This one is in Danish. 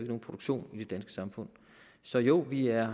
nogen produktion i det danske samfund så jo vi er